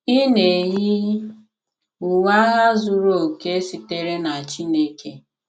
Ị na-eyi, uwe agha zuru oke sitere na Chineke